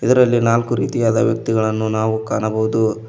ಇದರಲ್ಲಿ ನಾಲ್ಕು ರೀತಿಯ ವ್ಯಕ್ತಿಗಳನ್ನು ನಾವು ಕಾಣಬಹುದು.